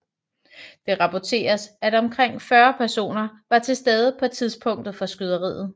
Det raporteres at omkring 40 personer var til stede på tidspunktet for skyderiet